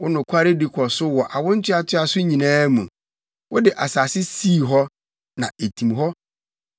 Wo nokwaredi kɔ so wɔ awo ntoatoaso nyinaa mu; wode asase sii hɔ, na etim hɔ.